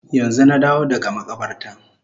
Yanzu na dawo daga makabarta